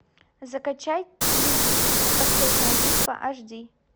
закачай люди икс последняя битва аш ди